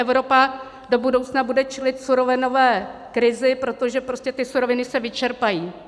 Evropa do budoucna bude čelit surovinové krizi, protože prostě ty suroviny se vyčerpají.